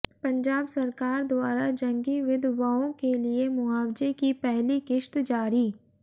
पंजाब सरकार द्वारा जंगी विधवओं के लिए मुआवज़े की पहली किश्त जारी